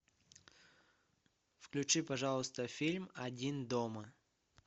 включи пожалуйста фильм один дома